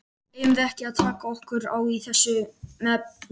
Eigum við ekki að taka okkur á í þessum efnum?